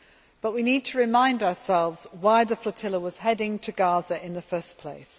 But we need to remind ourselves why the flotilla was heading for Gaza in the first place.